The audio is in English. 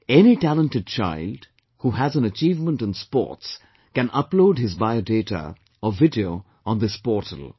Any talented child who has an achievement in sports, can upload his biodata or video on this portal